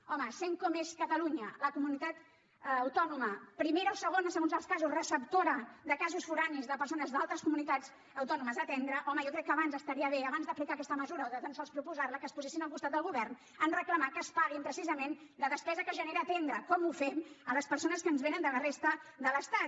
home sent com és catalunya la comunitat autònoma primera o segona segons els casos receptora de casos forans de persones d’altres comunitats autònomes a atendre home jo crec que abans estaria bé abans d’aplicar aquesta mesura o de tan sols proposar la que es posessin al costat del govern a reclamar que es pagui precisament la despesa que genera atendre com ho fem les persones que ens vénen de la resta de l’estat